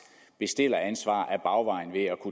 bestilleransvar ad bagvejen ved at